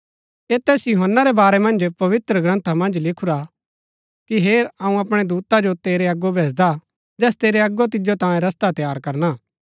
ऐह तैस यूहन्‍ना रै बारै मन्ज पवित्रग्रन्था मन्ज लिखुरा हा कि हेर अऊँ अपणै दूता जो तेरै अगो भैजदा हा जैस तेरै अगो तिजो तांयें रस्ता तैयार करणा